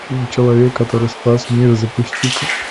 фильм человек который спас мир запусти ка